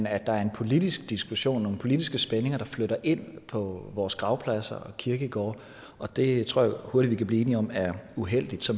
at der er en politisk diskussion og nogle politiske spændinger der flytter ind på vores gravpladser kirkegårde og det tror jeg hurtigt vi kan blive enige om er uheldigt så